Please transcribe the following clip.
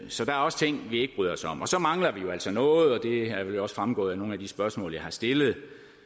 så der er også ting vi ikke bryder os om og så mangler vi jo altså noget og det er vel også fremgået af nogle af de spørgsmål jeg har stillet